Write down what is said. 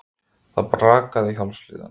Það brakaði í hálsliðunum.